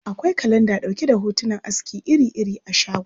Akwai kalanda ɗauke da hotunan aski iri-iri a shagon askin.